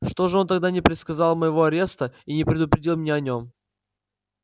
что же он тогда не предсказал моего ареста и не предупредил меня о нём